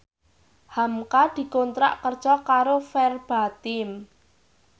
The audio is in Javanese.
hamka dikontrak kerja karo Verbatim